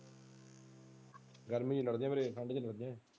ਗਰਮੀ ਲਡ਼ਦੇ ਫੇਰੇ ਠੰਡ ਚ ਫਿਰਦੇ ਹਨ।